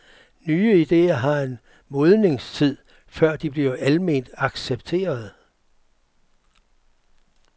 Nye ideer har en modningstid, før de bliver alment accepterede.